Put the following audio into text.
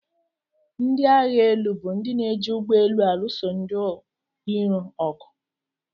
Ndị agba élú bụ ndị na-eji ugbọelu alụso ndị irò ọgụ.